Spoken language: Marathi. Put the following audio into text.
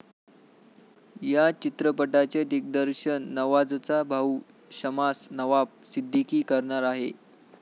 या चित्रपटाचे दिग्दर्शन नवाझचा भाऊ शमास नवाब सिद्दीकी करणार आहे.